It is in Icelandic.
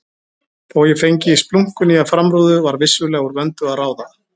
Þó ég fengi splunkunýja framrúðu var vissulega úr vöndu að ráða.